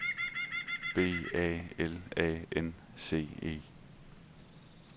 B A L A N C E